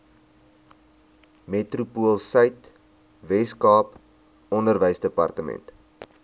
metropoolsuid weskaap onderwysdepartement